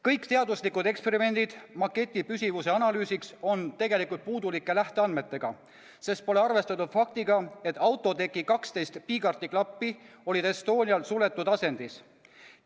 Kõik teaduslikud eksperimendid maketi püsivuse analüüsimiseks on tegelikult olnud puudulike lähteandmetega, sest pole arvestatud faktiga, et autoteki 12 piigarti klappi olid Estonial suletud asendis.